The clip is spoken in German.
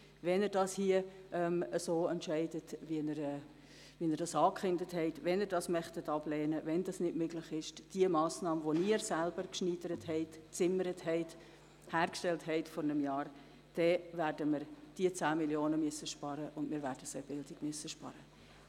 Wenn Sie sich so entscheiden, wie Sie angekündigt haben, und wenn es nicht möglich ist, die Massnahme, die Sie selber vor einem Jahr geschneidert und gezimmert haben, gutzuheissen, werden wir diese 10 Mio. Franken in der Bildung einsparen müssen.